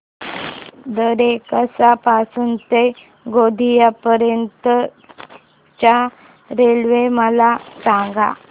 दरेकसा पासून ते गोंदिया पर्यंत च्या रेल्वे मला सांगा